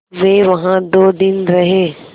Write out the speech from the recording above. वे वहाँ दो दिन रहे